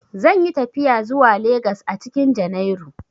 Zan yi tafiya zuwa Legas a cikin junairu.